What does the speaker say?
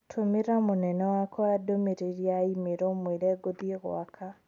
Tũmĩra mũnene wakwa ndũmĩrĩri ya i-mīrū ũmũĩre ngũthiĩ gwaka